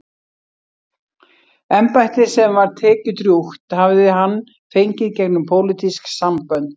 Embættið, sem var tekjudrjúgt, hafði hann fengið gegnum pólitísk sambönd.